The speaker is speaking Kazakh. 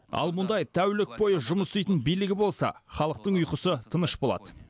ал мұндай тәулік бойы жұмыс істейтін билігі болса халықтың ұйқысы тыныш болады